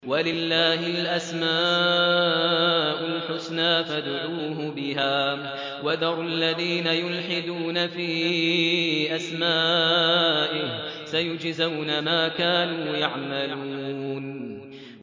وَلِلَّهِ الْأَسْمَاءُ الْحُسْنَىٰ فَادْعُوهُ بِهَا ۖ وَذَرُوا الَّذِينَ يُلْحِدُونَ فِي أَسْمَائِهِ ۚ سَيُجْزَوْنَ مَا كَانُوا يَعْمَلُونَ